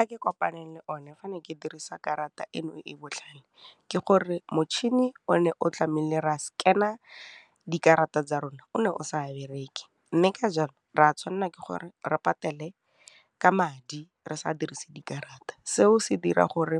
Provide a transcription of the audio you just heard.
a ke kopaneng le one fa ne ke dirisa karata eno e e botlhale ke gore motšhini o ne o tlamile re a scanner dikarata tsa rona o ne o sa bereke, mme ka jalo re a tshwanela ke gore re patele ka madi re sa a dirise dikarata. Seo se dira gore